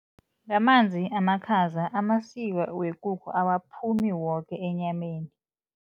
Ngamanzi amakhaza amasiba wekukhu awaphumi woke enyameni.